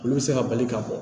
Olu bɛ se ka bali ka bɔ